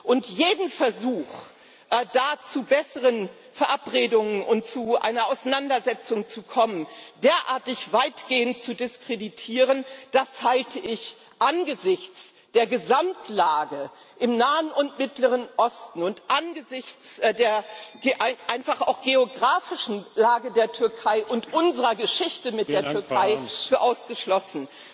Und jeden Versuch, da zu besseren Verabredungen und zu einer Auseinandersetzung zu kommen, derartig weitgehend zu diskreditieren, halte ich angesichts der Gesamtlage im Nahen und Mittleren Osten und einfach auch angesichts der geografischen Lage der Türkei und unserer Geschichte mit der Türkei für ausgeschlossen.